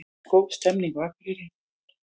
Góð stemning á Akureyri